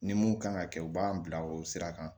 Ni mun kan ka kɛ u b'an bila o sira kan